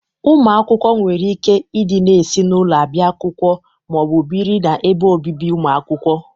Ụmụ akwụkwọ nwere ike ị dịna esi n'ụlọ abịa akwụkwọ ma ọ bụ bịrị na ebe obibi ụmụ akwụkwọ.